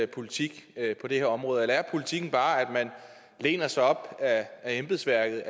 politik på det her område eller er politikken bare at man læner sig op ad embedsværket